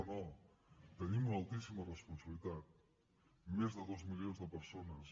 no no tenim una altíssima responsabilitat més de dos milions de persones